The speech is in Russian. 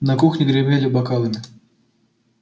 на кухне гремели бокалами